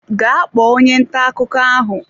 Gaa kpọọ onye ntà akụkọ ahụ!